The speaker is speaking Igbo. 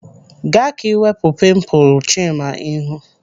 Gaa ka iwepu pimpulu Chima ihu.